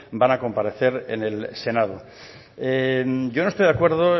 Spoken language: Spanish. van a comparecer en el senado yo no estoy de acuerdo